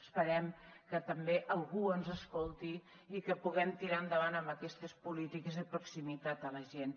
esperem que també algú ens escolti i que puguem tirar endavant aquestes polítiques de proximitat a la gent